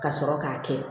Ka sɔrɔ k'a kɛ